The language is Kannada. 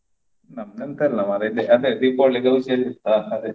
ನಮ್ದು ಎಂತ ಇಲ್ಲ ಮಾರೇ ಇದೆ. ಅದೇ Deepavali ದಿವಸ ಇರ್ತದಲ್ಲ ಅದೇ.